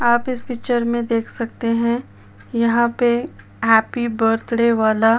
आप इस पिक्चर में देख सकते है यहां पे हैप्पी बर्थडे वाला --